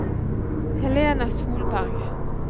Helena Solberg